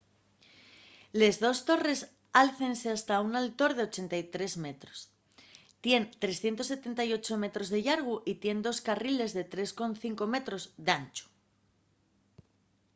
les dos torres álcense hasta un altor de 83 metros tien 378 metros de llargu y tien dos carriles de 3,5 m d’anchu